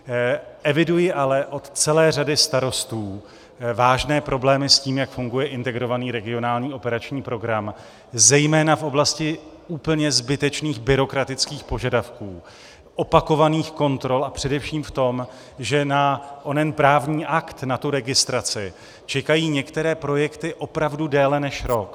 Eviduji ale od celé řady starostů vážné problémy s tím, jak funguje Integrovaný regionální operační program, zejména v oblasti úplně zbytečných byrokratických požadavků, opakovaných kontrol a především v tom, že na onen právní akt, na tu registraci, čekají některé projekty opravdu déle než rok.